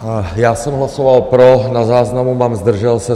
Já jsem hlasoval pro, na záznamu mám zdržel se.